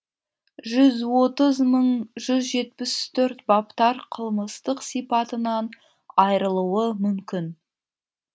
жүз отыз мың жүз отыз төрт баптар қылмыстық сипатынан айырылуы мүмкін